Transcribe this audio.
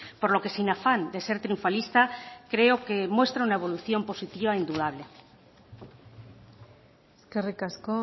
por lo que sin afán de ser triunfalista creo que muestra una evolución positiva indudable eskerrik asko